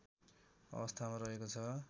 अवस्थामा रहेको छ